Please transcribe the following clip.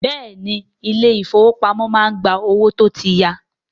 Bẹ́ẹ̀ni, ilé ìfọwọ́pamo má ń gba owó tó tí ya.